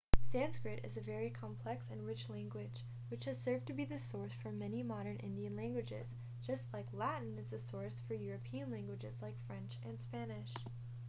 sanskrit is a very complex and rich language which has served to be the source for many modern indian languages just like latin is the source for european languages like french and spanish